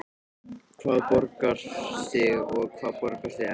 Hvað borgar sig og hvað borgar sig ekki?